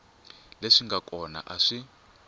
leswi nga kona a swi